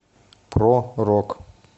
про рок